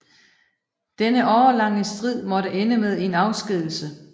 Denne årelange strid måtte ende med en afskedigelse